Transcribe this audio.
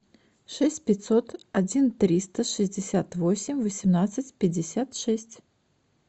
шесть пятьсот один триста шестьдесят восемь восемнадцать пятьдесят шесть